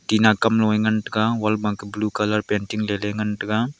tina kam ngan taiga wall blue colour painting le ley ngan taiga.